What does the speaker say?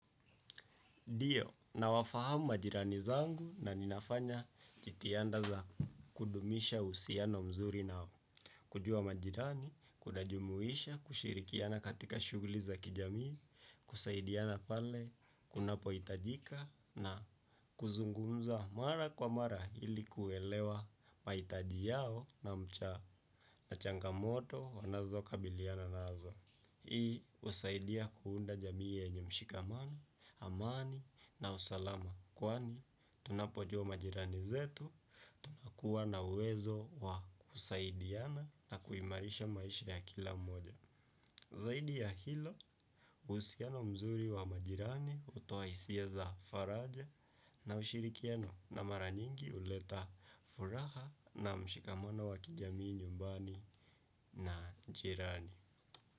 Ndio, nawafahamu majirani zangu na ninafanya jitihada za kudumisha uhusiano mzuri nao. Kujua majirani, kunajumuisha, kushirikiana katika shughuli za kijamii, kusaidiana pale, kunapohitajika na kuzungumza mara kwa mara ili kuelewa mahitaji yao na changamoto wanazokabiliana nazo. Hii husaidia kuunda jamii yenye mshikamano, amani na usalama kwani. Tunapojua majirani zetu, tunakuwa na uwezo wa kusaidiana na kuimarisha maisha ya kila mmoja. Zaidi ya hilo, uhusiano mzuri wa majirani, hutoa hisia za faraja na ushirikiano na mara nyingi huleta furaha na mshikamano wa kijamii nyumbani na jirani.